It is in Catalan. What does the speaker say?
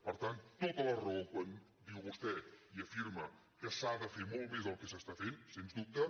per tant tota la raó quan diu vostè i afirma que s’ha de fer molt més del que s’està fent sens dubte